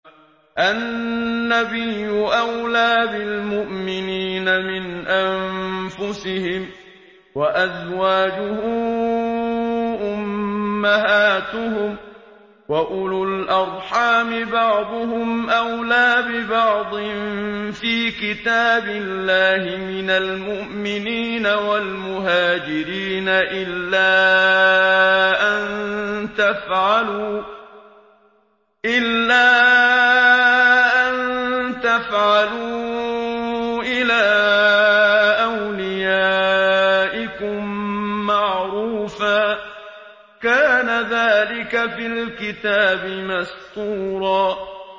النَّبِيُّ أَوْلَىٰ بِالْمُؤْمِنِينَ مِنْ أَنفُسِهِمْ ۖ وَأَزْوَاجُهُ أُمَّهَاتُهُمْ ۗ وَأُولُو الْأَرْحَامِ بَعْضُهُمْ أَوْلَىٰ بِبَعْضٍ فِي كِتَابِ اللَّهِ مِنَ الْمُؤْمِنِينَ وَالْمُهَاجِرِينَ إِلَّا أَن تَفْعَلُوا إِلَىٰ أَوْلِيَائِكُم مَّعْرُوفًا ۚ كَانَ ذَٰلِكَ فِي الْكِتَابِ مَسْطُورًا